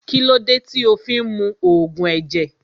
Kílódé tí o fí ń mu Ògùn ẹ̀jẹ̀